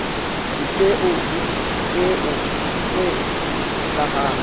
dipeo le dipeo tse hlahang